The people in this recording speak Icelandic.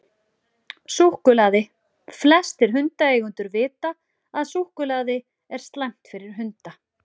Súkkulaði: Flestir hundaeigendur vita að súkkulaði er slæmt fyrir hunda.